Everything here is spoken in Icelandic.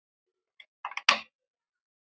Þinn frændi Óskar.